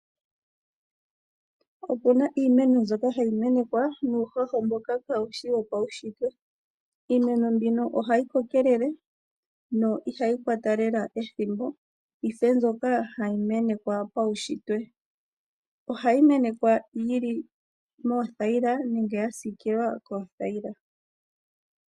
Opu na iimeno mbyoka hayi menekwa nuuhoho mboka kaawushi wopawushitwe. Iimeno mbino oha yi kokelele yo ihayi kwata lela ethimbo yife mbyoka hayi menekwa paushitwe. Oha yi menekwa yili moothayila nenge ya siikilwa kothayila.